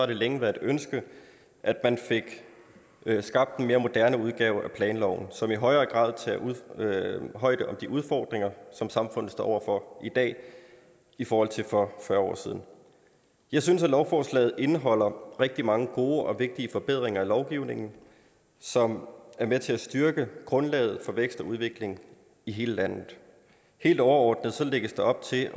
det længe været et ønske at man fik skabt en mere moderne udgave af planloven som i højere grad tager højde for de udfordringer som samfundet står over for i dag i forhold til for fyrre år siden jeg synes at lovforslaget indeholder rigtig mange gode og vigtige forbedringer af lovgivningen som er med til at styrke grundlaget for vækst og udvikling i hele landet helt overordnet lægges der op til